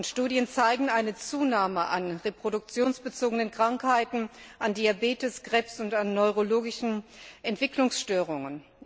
Studien zeigen eine Zunahme an reproduktionsbezogenen Krankheiten, an Diabetes, Krebs und an neurologischen Entwicklungsstörungen.